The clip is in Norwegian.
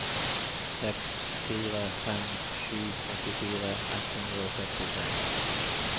seks fire fem sju åttifire ett hundre og sekstitre